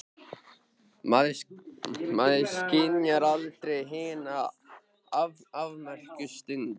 Maður skynjar aldrei hina afmörkuðu stund.